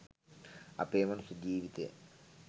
අපේ මනුස්ස ජීවිතය